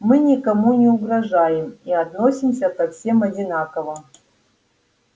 мы никому не угрожаем и относимся ко всем одинаково